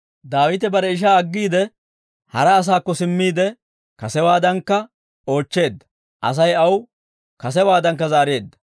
Daawite bare ishaa aggiide, hara asaakko simmiide, kasewaadankka oochcheedda; Asay aw kasewaadankka zaareedda.